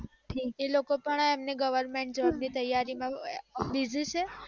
એ લોકો પણ એમને goverment ની તૈયારી માં job છે